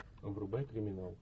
врубай криминал